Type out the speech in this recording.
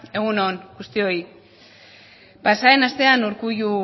egun on guztioi pasaden astean urkullu